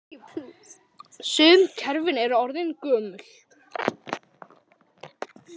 Sum kerfin eru orðin gömul.